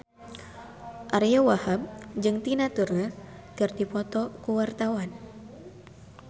Ariyo Wahab jeung Tina Turner keur dipoto ku wartawan